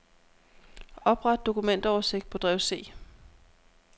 Opret dokumentoversigt på drev C.